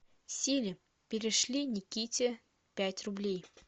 сири перешли никите пять рублей